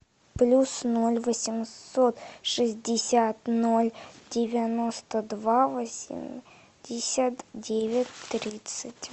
плюс ноль восемьсот шестьдесят ноль девяносто два восемьдесят девять тридцать